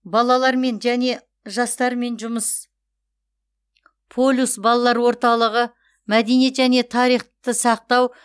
балалармен және жастармен жұмыс полюс балалар орталығы мәдениет және тарихты сақтау